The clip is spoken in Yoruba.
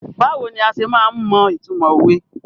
Báwo ni a se máa ń mọ ìtumọ̀ òwe?